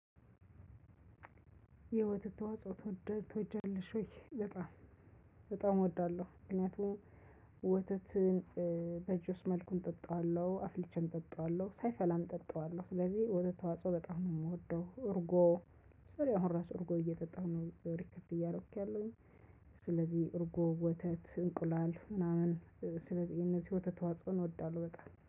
የወተት ተዋጽኦ ትወደድ ትወጃለሽ ወይ? በጣም በጣም እወዳለሁ ምክንያቱም ወተትን በእጁስ መልኩም እጠጣዋለሁ አፍልቸም እጠጣዋለሁ ሳይፈላም እጠጣዋለሁ ስለዚህ ወተት ተዋጽኦ በጣም ነው የምወደው። እርጎ ለምሳሌ አሁን ራሱ እርጎ እየጠጣሁ ነው ሪከርድ እያረኩ ያለው። ስለዚህ እርጎ ወተት እንቁላል ምናምን ስለዚህ እነዚህ ወተት ተዋጾን እወዳለሁ በቃ